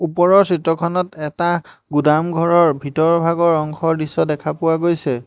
ওপৰৰ চিত্ৰখনত এটা গুদামঘৰৰ ভিতৰভাগৰ অংশৰ দৃশ্য দেখা পোৱা গৈছে।